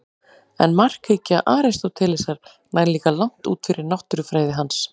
En markhyggja Aristótelesar nær líka langt út fyrir náttúrufræði hans.